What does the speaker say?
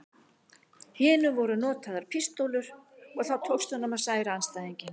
hinu voru notaðar pístólur og þá tókst honum að særa andstæðinginn.